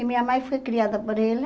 E minha mãe foi criada por ela